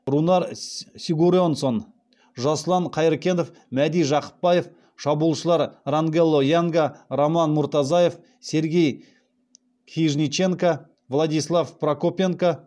рунар сигурьонссон жасұлан қайыркенов мәди жақыпбаев шабуылшылар рангело янга роман муртазаев сергей хижниченко владислав прокопенко